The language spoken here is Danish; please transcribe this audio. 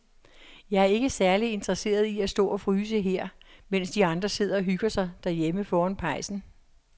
Jeg er ikke særlig interesseret i at stå og fryse her, mens de andre sidder og hygger sig derhjemme foran pejsen.